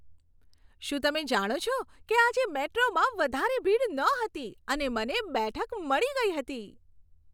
શું તમે જાણો છો કે આજે મેટ્રોમાં વધારે ભીડ નહોતી અને મને બેઠક મળી ગઈ હતી?